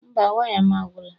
Mba, waya m agwụla